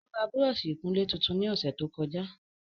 Ó ra Búrọ́ọ̀sì ìkunlé tuntun ní ọ̀sẹ̀ tó kọjá